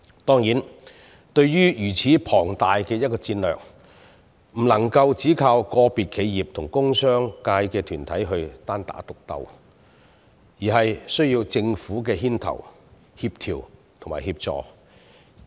當然，對於如此龐大的一個戰略，不能只靠個別企業及工商界團體單打獨鬥，而是需要政府牽頭、協調及協助。